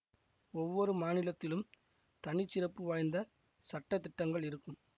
ஒவ்வொரு மாநிலத்திலும் தனி சிறப்பு வாய்ந்த சட்டதிட்டங்கள் இருக்கும்